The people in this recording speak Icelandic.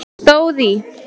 stóð í